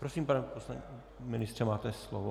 Prosím, pane ministře, máte slovo.